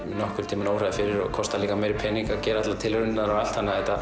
mig óraði fyrir og kostaði líka miklu meiri pening að gera allar tilraunirnar og allt þannig að þetta